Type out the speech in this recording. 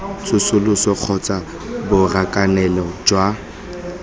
tsosoloso kgotsa ke borakanelo jwa